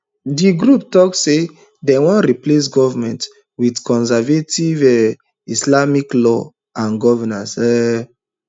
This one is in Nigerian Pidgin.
di group tok say dem wan replace goment wit conservative um islamic law and governance um